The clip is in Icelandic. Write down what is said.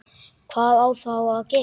Hvað á þá að gera?